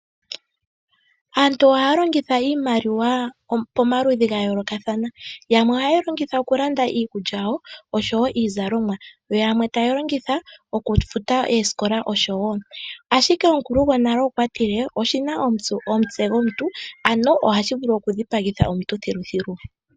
Aantu ohaya longitha iimaliwa pomaludhi ga yolokathana, yamwe ohaye yi longitha okulanda iikulya yawo oshowo iizalomwa yo yamwe taya longitha okufuta oosikola oshowo. Ashike omukulu gonale okwa tile: "oshi na omutse gomuntu" ano ohashi vulu okufhipagitha omuntu thiluthilu.